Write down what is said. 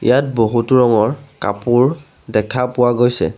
ইয়াত বহুতো ৰঙৰ কাপোৰ দেখা পোৱা গৈছে।